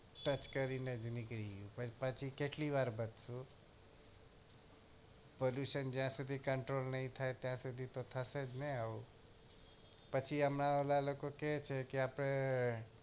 touch કરી ને નીકળી ગયું પછી કેટલી વાર બધું pollution જ્યાં સુધી control ની થાય ત્યાં સુધી તો થશે જ ને આવું પછી આમાં ઓલા લોકો કેય છે કે આપડે